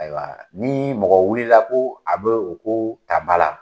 Ayiwa ni mɔgɔ wulila ko a be o ko ta ba la